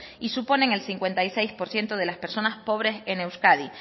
y suponen el cincuenta y seis por ciento de las personas pobres en euskadi